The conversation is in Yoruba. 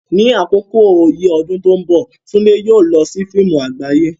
Ní àkókò yìí lọ́dún tó ń bọ̀, Tunde yóò lọ sí fíìmù àgbáyé.